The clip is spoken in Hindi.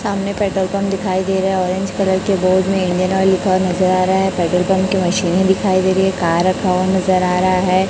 सामने पेट्रोल पंप दिखाई दे रहा है ऑरेंज कलर के बोर्ड मे इंडियन ऑयल लिखा हुआ नजर आ रहा है पेट्रोल पंप की मशीने दिखाई दे रही है कार रखा हुआ नजर आ रहा है।